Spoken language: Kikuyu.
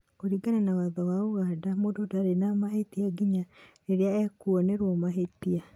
kũringana Watho wa Ũganda , mũndũ ndarĩ na mahĩtia nginya riria ekuonerũo mahĩtia.